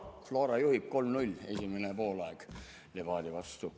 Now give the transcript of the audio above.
Flora juhib 3 : 0, esimene poolaeg Levadia vastu.